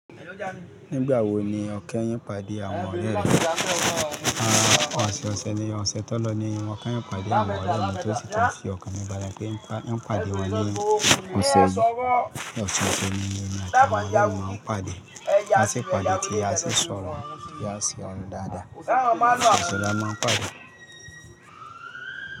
Nígbà wo ni ọkẹ ń pàdé àwọn ọ̀rẹ́ rẹ̀? Àwọn ọ̀sẹ̀ ọ̀sẹ̀ ni ọ̀sẹ̀ tó lọ ni wọn kẹ́ ń pàdé àwọn ọ̀rẹ́ wọn tó sì tún fi ọ̀kan nínú bàrán pé ń pàdé wọn ní ọ̀sẹ̀ yìí. Ọ̀sẹ̀ ọ̀sẹ̀ ni ọ̀rẹ́ kan máa ń pàdé. A sì pàdé tí a sì sọ̀rọ̀ tí a sì ọrọ dáadáa. Ọ̀sẹ̀ ọ̀sẹ̀ la máa ń pàdé.